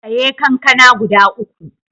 Saye kankana guda uku.